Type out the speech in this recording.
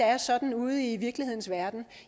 er sådan ude i virkelighedens verden